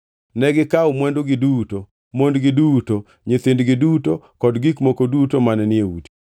Negikawo mwandugi duto, mondgi duto, nyithindgi duto kod gik moko duto mane ni e udi.